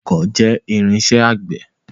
Ọkọ́ jẹ́ irinṣẹ́ àgbẹ̀.